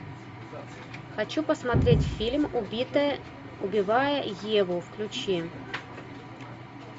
хочу посмотреть фильм убитая убивая еву включи